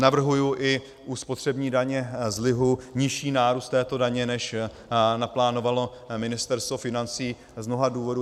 Navrhuji i u spotřební daně z lihu nižší nárůst této daně, než naplánovalo Ministerstvo financí, z mnoha důvodů.